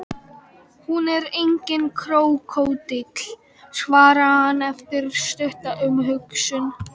Hún er enginn krókódíll, svarar hann eftir stutta umhugsun.